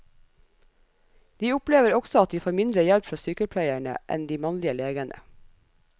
De opplever også at de får mindre hjelp fra sykepleierne enn de mannlige legene.